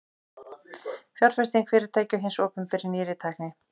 fjárfesting fyrirtækja og hins opinbera í nýrri tækni